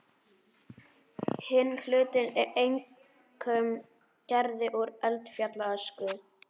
Hinn hlutinn er einkum gerður úr eldfjallaösku.